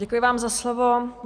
Děkuji vám za slovo.